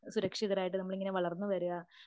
സുരക്ഷിതരായിട്ടു നമ്മളിങ്ങനെ വളർന്നു വരിക